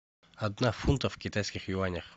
одна фунта в китайских юанях